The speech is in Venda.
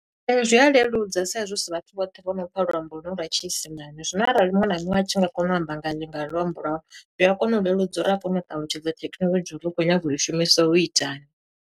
Ee, zwi a leludza sa i zwi hu si vhathu vhoṱhe vho no pfa luambo ho lwu lwa tshiisimani. Zwino arali muṅwe na muṅwe a tshi nga kona u amba nga yo nga luambo lwawe, zwi a kona u leludza uri a kone u ṱalutshedza thekhinolodzhi uri u khou nyanga u i shumisa u itani.